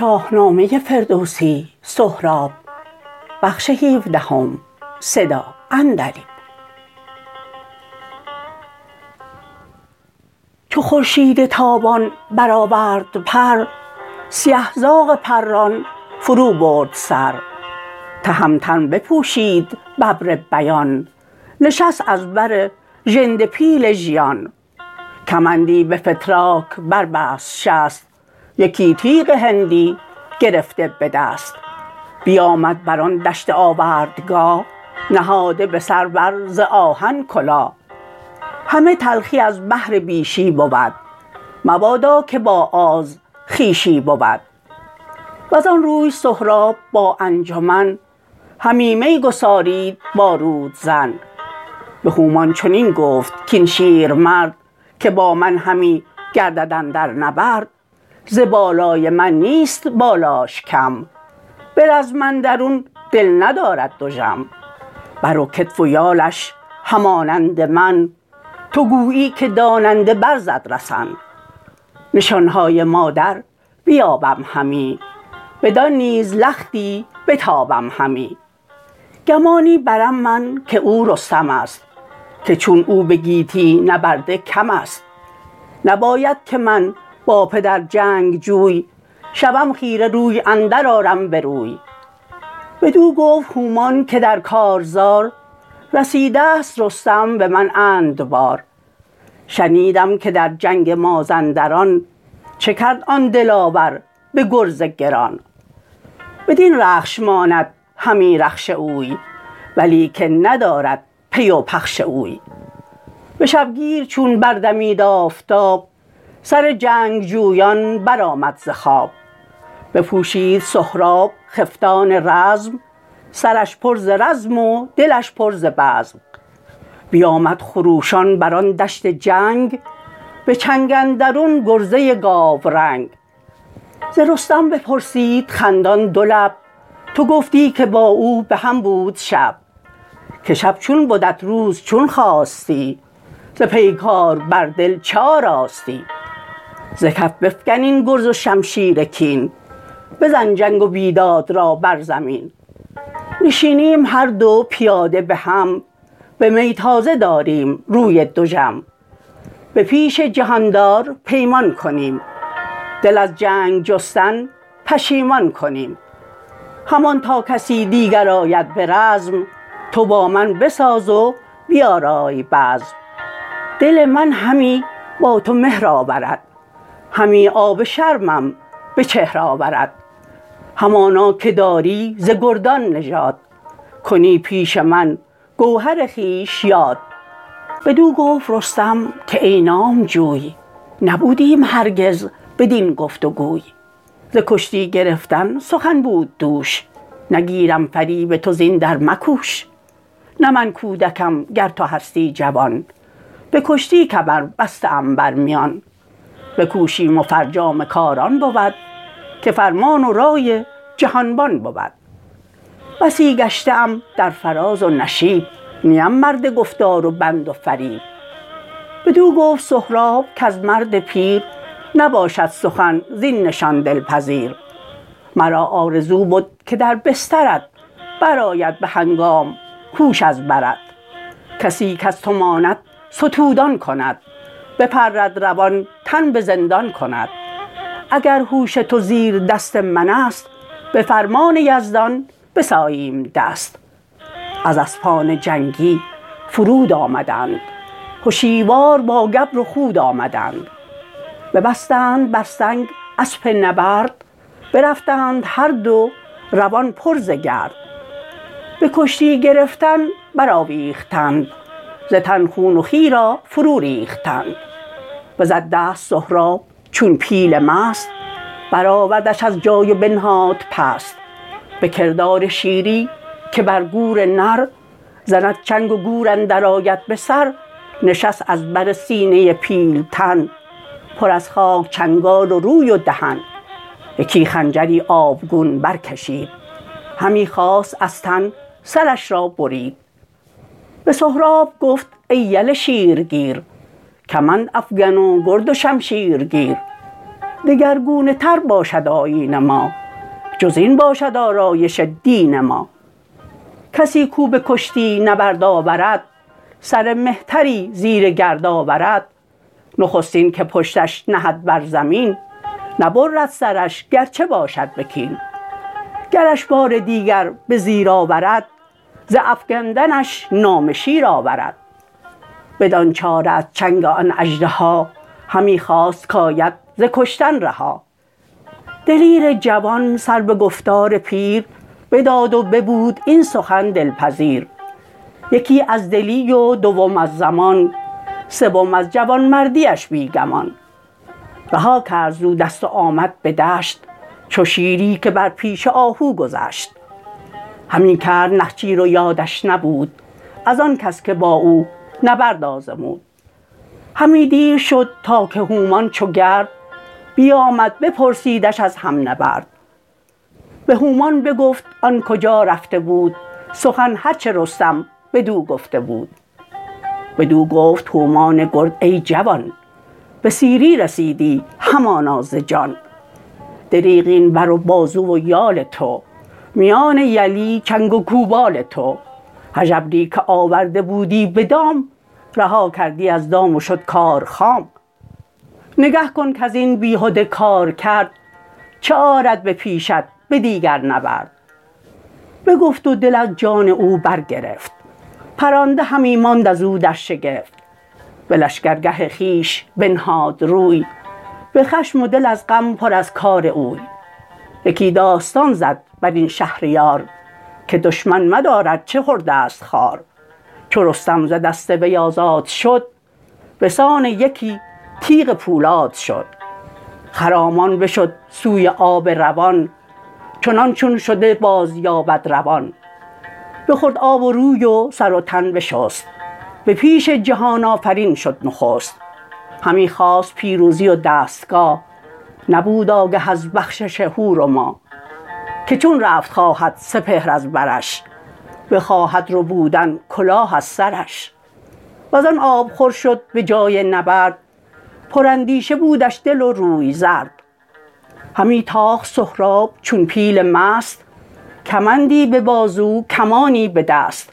چو خورشید تابان برآورد پر سیه زاغ پران فرو برد سر تهمتن بپوشید ببربیان نشست از بر ژنده پیل ژیان کمندی به فتراک بر بست شست یکی تیغ هندی گرفته بدست بیامد بران دشت آوردگاه نهاده به سر بر ز آهن کلاه همه تلخی از بهر بیشی بود مبادا که با آز خویشی بود وزان روی سهراب با انجمن همی می گسارید با رودزن به هومان چنین گفت کاین شیرمرد که با من همی گردد اندر نبرد ز بالای من نیست بالاش کم برزم اندرون دل ندارد دژم بر و کتف و یالش همانند من تو گویی که داننده بر زد رسن نشان های مادر بیابم همی بدان نیز لختی بتابم همی گمانی برم من که او رستمست که چون او بگیتی نبرده کمست نباید که من با پدر جنگجوی شوم خیره روی اندر آرم بروی بدو گفت هومان که در کارزار رسیدست رستم به من اند بار شنیدم که در جنگ مازندران چه کرد آن دلاور به گرز گران بدین رخش ماند همی رخش اوی ولیکن ندارد پی و پخش اوی به شبگیر چون بردمید آفتاب سر جنگجویان برآمد ز خواب بپوشید سهراب خفتان رزم سرش پر ز رزم و دلش پر ز بزم بیامد خروشان بران دشت جنگ به چنگ اندرون گرزه گاورنگ ز رستم بپرسید خندان دو لب تو گفتی که با او به هم بود شب که شب چون بدت روز چون خاستی ز پیگار بر دل چه آراستی ز کف بفگن این گرز و شمشیر کین بزن جنگ و بیداد را بر زمین نشینیم هر دو پیاده به هم به می تازه داریم روی دژم به پیش جهاندار پیمان کنیم دل از جنگ جستن پشیمان کنیم همان تا کسی دیگر آید به رزم تو با من بساز و بیارای بزم دل من همی با تو مهر آورد همی آب شرمم به چهر آورد همانا که داری ز گردان نژاد کنی پیش من گوهر خویش یاد بدو گفت رستم که ای نامجوی نبودیم هرگز بدین گفت وگوی ز کشتی گرفتن سخن بود دوش نگیرم فریب تو زین در مکوش نه من کودکم گر تو هستی جوان به کشتی کمر بسته ام بر میان بکوشیم و فرجام کار آن بود که فرمان و رای جهانبان بود بسی گشته ام در فراز و نشیب نیم مرد گفتار و بند و فریب بدو گفت سهراب کز مرد پیر نباشد سخن زین نشان دلپذیر مرا آرزو بد که در بسترت برآید به هنگام هوش از برت کسی کز تو ماند ستودان کند بپرد روان تن به زندان کند اگر هوش تو زیر دست منست به فرمان یزدان بساییم دست از اسپان جنگی فرود آمدند هشیوار با گبر و خود آمدند ببستند بر سنگ اسپ نبرد برفتند هر دو روان پر ز گرد بکشتی گرفتن برآویختند ز تن خون و خوی را فرو ریختند بزد دست سهراب چون پیل مست برآوردش از جای و بنهاد پست به کردار شیری که بر گور نر زند چنگ و گور اندر آید به سر نشست از بر سینه پیلتن پر از خاک چنگال و روی و دهن یکی خنجری آبگون برکشید همی خواست از تن سرش را برید به سهراب گفت ای یل شیرگیر کمندافگن و گرد و شمشیرگیر دگرگونه تر باشد آیین ما جزین باشد آرایش دین ما کسی کاو بکشتی نبرد آورد سر مهتری زیر گرد آورد نخستین که پشتش نهد بر زمین نبرد سرش گرچه باشد به کین گرش بار دیگر به زیر آورد ز افگندنش نام شیر آورد بدان چاره از چنگ آن اژدها همی خواست کاید ز کشتن رها دلیر جوان سر به گفتار پیر بداد و ببود این سخن دلپذیر یکی از دلی و دوم از زمان سوم از جوانمردیش بی گمان رها کرد زو دست و آمد به دشت چو شیری که بر پیش آهو گذشت همی کرد نخچیر و یادش نبود ازان کس که با او نبرد آزمود همی دیر شد تا که هومان چو گرد بیامد بپرسیدش از هم نبرد به هومان بگفت آن کجا رفته بود سخن هرچه رستم بدو گفته بود بدو گفت هومان گرد ای جوان به سیری رسیدی همانا ز جان دریغ این بر و بازو و یال تو میان یلی چنگ و گوپال تو هژبری که آورده بودی بدام رها کردی از دام و شد کار خام نگه کن کزین بیهده کارکرد چه آرد به پیشت به دیگر نبرد بگفت و دل از جان او برگرفت پرانده همی ماند ازو در شگفت به لشکرگه خویش بنهاد روی به خشم و دل از غم پر از کار اوی یکی داستان زد برین شهریار که دشمن مدار ارچه خردست خوار چو رستم ز دست وی آزاد شد بسان یکی تیغ پولاد شد خرامان بشد سوی آب روان چنان چون شده باز یابد روان بخورد آب و روی و سر و تن بشست به پیش جهان آفرین شد نخست همی خواست پیروزی و دستگاه نبود آگه از بخشش هور و ماه که چون رفت خواهد سپهر از برش بخواهد ربودن کلاه از سرش وزان آبخور شد به جای نبرد پراندیشه بودش دل و روی زرد همی تاخت سهراب چون پیل مست کمندی به بازو کمانی به دست